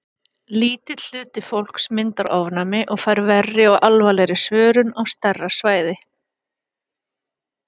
Lítill hluti fólks myndar ofnæmi og fær verri og alvarlegri svörun á stærra svæði.